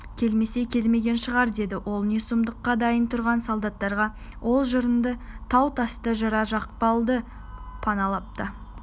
келмесе келмеген шығар деді ол не сұмдыққа дайын тұрған солдаттарға ол жырынды тау-тасты жыра-жықпалды паналап та